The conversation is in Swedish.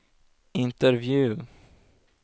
intervju